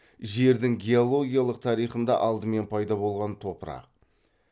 жердің геологиялық тарихында алдымен пайда болған топырақ